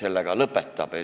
selle ka lõpetab.